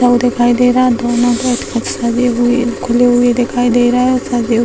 दिखाई दे रहा है दोनों बैठ कर खुले हुई दिखाई दे रहा है